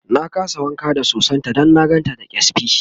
na kasa wanka da sosan ta Dan na gan ta da kyasbi